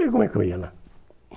E como é que eu ia lá?